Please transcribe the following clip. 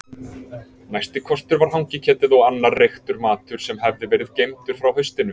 Næsti kostur var hangiketið og annar reyktur matur sem hafði verið geymdur frá haustinu.